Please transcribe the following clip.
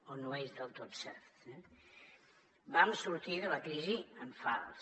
o no és del tot cert eh vam sortir de la crisi en fals